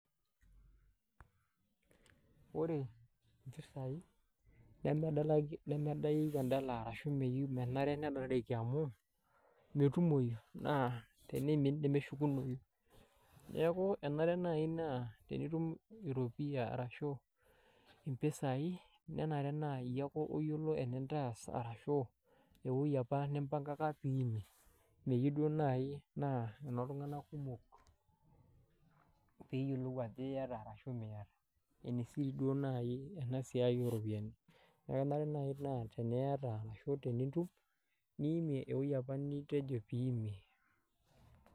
Wore impisai nemedaeki endala ashu meyieu menare nedalareki amu, metumoi naa teniimin nemeshukunoyu. Neeku enare naai naa itum eropiyia ashu impisai, nenare naa iyiake oyiolo enintaas arashu, ewoji apa nimbankaka piimie. Meyieu duo naai naa enooltunganak kumok, peeyiolou ajo iata arashu miata. Ene siri duo naaji ena siai ooropiyiani. Neeku kenare naaji naa, teniata arashu tenitum, niimie ewoji apa nitejo pee iimie.